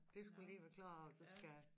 De skulle lige forklare at du skal